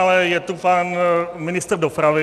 Ale je tu pan ministr dopravy.